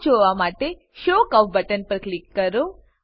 chart જોવા માટે show curve button પર ક્લિક કરો